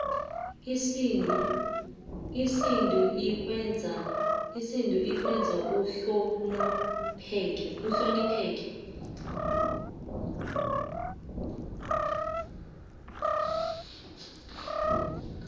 isudu ikwenza uhlonopheke